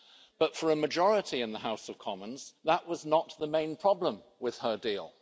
But for a majority in the House of Commons that was not the main problem with her deal.